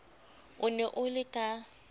o ne o le ka